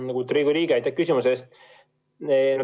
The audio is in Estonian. Lugupeetud Riigikogu liige, aitäh küsimuse eest!